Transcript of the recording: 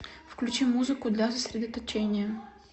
включи музыку для сосредоточения